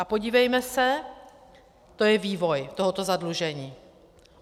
A podívejme se, to je vývoj toho zadlužení.